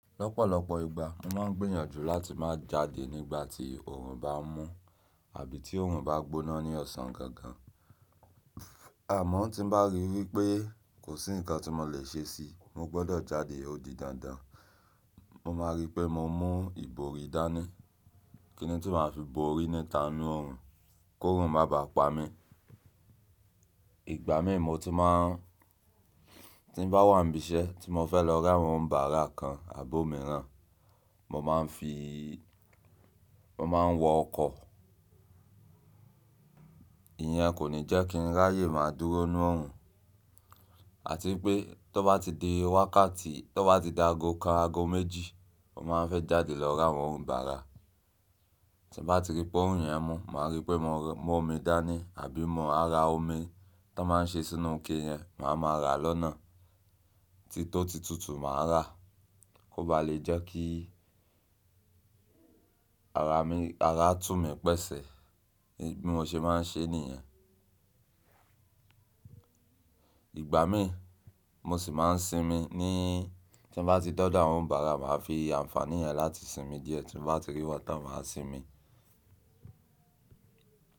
Lọ́pọ̀lọpọ̀ ìgbà mo máa ń gbìyànjú láti má jáde nígbà tí oòrùn bá mú àbí tí oòrùn bá gbóná ní ọ̀sán gangan. Àmọ́ tí bá rí wípé kò sí ǹkan tí mo lè ṣe sí, mo gbọ́dọ̀ jáde, ó di dandan. Mo máa rí pé mo mú ìbòrí dání, kíni tí màá fi bòrí níta nu oòrùn, kòrùn má bàá pa mi. Ìgbàmì mo tun maá n, ti n ba wà níbi iṣẹ́ tí mo fẹ́ lọ ra àwọn onibàrà kan àbó mìíràn mo maa n fi mo máa ń wọ ọkọ̀. Ìyẹn kò ní jẹ́ kí n ráyè má dúró nú oòrùn. Àti pé tó bá ti di wákàtí, tó bá ti di ago kan, ago méjì, mo máa ń fẹ́ jáde lọ ra àwọn onibàrà. Ti n ba ti ri pe orun yen mu, ma ri pe mo mu omi dani, àbí maa ra omi to n maa n se sínú ike yen maa ma ra lọ́nà titó ti tùtù màá rà, kó bá lè jẹ́ kí ara tú mi pẹ́sẹ̀. Bí mo ṣe máa ń ṣe nìyẹn. Ìgbàmì mo sì máa ń sinmi ní tí n bá ti de do àwọn onibàrà, màá fi ànfàní yẹn láti sinmi díẹ̀ tí n bá ti rí wọ́n táń máa sinmi.